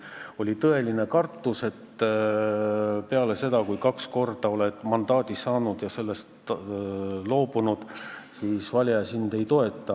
Mul oli tõeline kartus, et peale seda, kui kaks korda oled mandaadi saanud ja sellest loobunud, siis valija sind ei toeta.